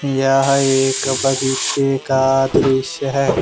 यहां एक बगीचे का दृश्य है।